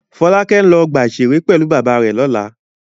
Fọ́lákẹ́ ń lọ ọgbà-ìṣeré pẹ̀lú bàbá rẹ̀ lọ́la.